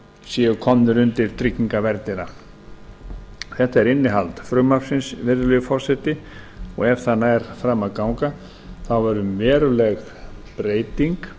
séu komnir undir tryggingaverndina þetta er innihald frumvarpsins virðulegi forseti og ef það nær fram að ganga þá verður veruleg breyting